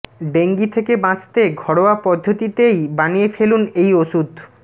dengue থেকে বাঁচতে ঘরোয়া পদ্ধতিতেই বানিয়ে ফেলুন এই ওষুধ